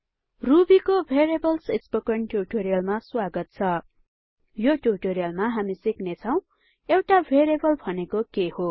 ruby को variables spoken ट्यूटोरियलमा स्वागत छ यो ट्यूटोरियलमा हामी सिक्ने छौ एउटा भेरिएबल भनेको के हो160